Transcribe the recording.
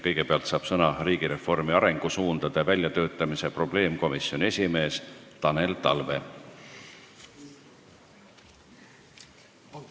Kõigepealt saab sõna riigireformi arengusuundade väljatöötamise probleemkomisjoni esimees Tanel Talve.